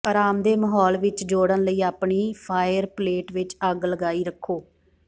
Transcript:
ਆਰਾਮਦੇਹ ਮਾਹੌਲ ਵਿੱਚ ਜੋੜਨ ਲਈ ਆਪਣੀ ਫਾਇਰਪਲੇਟ ਵਿੱਚ ਅੱਗ ਲਗਾਈ ਰੱਖੋ